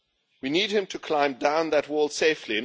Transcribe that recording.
we need him to climb down that wall safely.